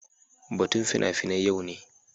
Batun fina-finai yau ne